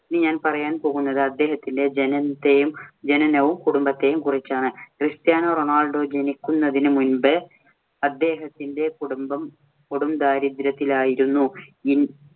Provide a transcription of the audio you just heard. ഇനി ഞാന്‍ പറയാന്‍ പോകുന്നത് അദ്ദേഹത്തിന്‍റെ ജനനത്തെയും, ജനനവും, കുടുംബത്തെയും കുറിച്ചാണ്. ക്രിസ്റ്റ്യാനോ റൊണാൾഡോ ജനിക്കുന്നതിനു മുൻപ് അദ്ദേഹത്തിന്റെ കുടുംബം കൊടും ദാരിദ്ര്യത്തിലായിരുന്നു.